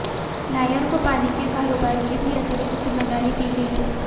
नायर को पानी के कारोबार की भी अतिरिक्त जिम्मेदारी दी गई थी